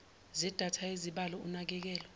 zedatha yezibalo unakekelo